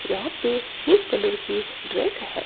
यहां पे pink colour की ड्रेस है।